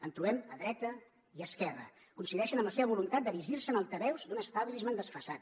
en trobem a dreta i esquerra coincideixen amb la seva voluntat d’erigir se en altaveus d’un establishment desfasat